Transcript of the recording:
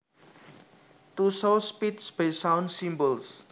To show speech by sound symbols